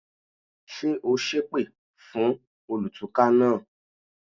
Ṣé o sépè fún olùtúká náà?